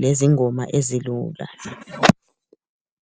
,lezingoma ezilula.